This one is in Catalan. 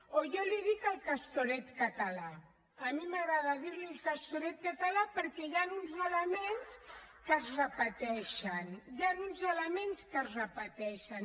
o jo en dic el castoret català a mi m’agrada dir ne el castoret català perquè hi han uns elements que es repeteixen hi han uns elements que es repeteixen